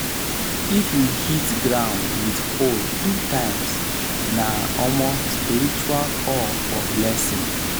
if you hit ground with hoe three times na um spiritual call for blessing